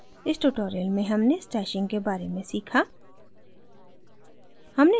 इस tutorial में हमने stashing के बारे में सीखा